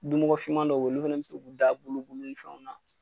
Dumɔgɔfinman dɔw olu fɛnɛ bi se k'u da bulu bulu fɛnw na